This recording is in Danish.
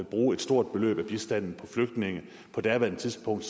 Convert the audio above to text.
bruge et stort beløb af bistanden på flygtninge på daværende tidspunkt